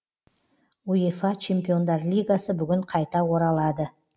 уефа чемпиондар лигасы бүгін қайта оралады